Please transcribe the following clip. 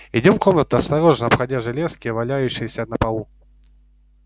идём в комнату осторожно обходя железки валяющиеся на полу